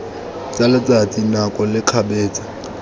tsa letsatsi nako le kgabetsa